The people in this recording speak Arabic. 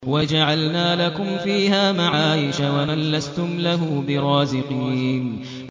وَجَعَلْنَا لَكُمْ فِيهَا مَعَايِشَ وَمَن لَّسْتُمْ لَهُ بِرَازِقِينَ